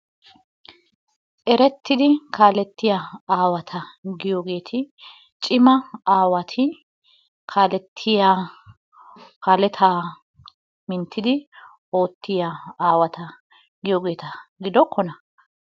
Erettiidi kaalettiya aawata nu giyoogeti cima aawati kaalettiya kaaletaa minttidi oottiya awaata giyoogeta gidokkonaa?